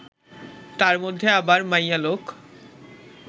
তার মধ্যে আবার মাইয়ালোক